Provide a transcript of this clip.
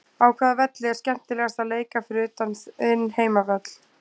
Á hvaða velli er skemmtilegast að leika fyrir utan þinn heimavöll?